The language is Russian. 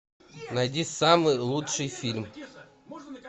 найди самый лучший фильм